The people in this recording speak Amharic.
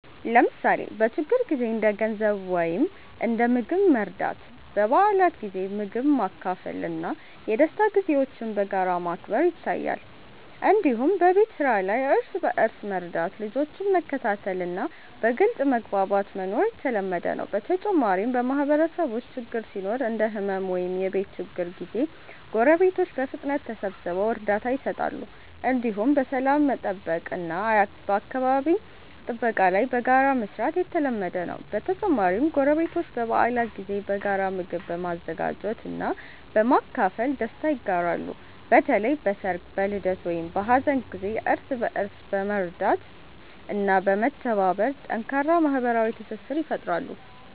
ለምሳሌ በችግር ጊዜ እንደ ገንዘብ ወይም እንደ ምግብ መርዳት፣ በበዓላት ጊዜ ምግብ ማካፈል እና የደስታ ጊዜዎችን በጋራ ማክበር ይታያል። እንዲሁም በቤት ስራ ላይ እርስ በእርስ መርዳት፣ ልጆችን መከታተል እና በግልጽ መግባባት መኖር የተለመደ ነው። በተጨማሪም በማህበረሰብ ውስጥ ችግር ሲኖር እንደ ሕመም ወይም የቤት ችግር ጊዜ ጎረቤቶች በፍጥነት ተሰብስበው እርዳታ ይሰጣሉ። እንዲሁም በሰላም መጠበቅ እና በአካባቢ ጥበቃ ላይ በጋራ መስራት የተለመደ ነው። በተጨማሪም ጎረቤቶች በበዓላት ጊዜ በጋራ ምግብ በመዘጋጀት እና በማካፈል ደስታ ይጋራሉ። በተለይ በሰርግ፣ በልደት ወይም በሀዘን ጊዜ እርስ በእርስ በመርዳት እና በመተባበር ጠንካራ ማህበራዊ ትስስር ይፈጥራሉ።